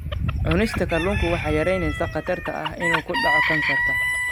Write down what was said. Cunista kalluunka waxay yaraynaysaa khatarta ah inuu ku dhaco kansarka.